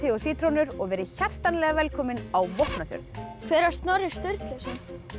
og sítrónur og verið hjartanlega velkomin á Vopnafjörð hver var Snorri Sturluson